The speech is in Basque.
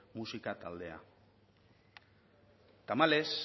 musika taldea tamalez